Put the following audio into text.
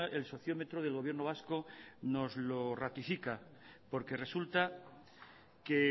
el sociómetro del gobierno vasco nos los ratifica porque resulta que